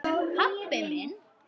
Pabbi minn?